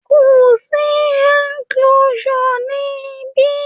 Kò sí enclosure ní ibí.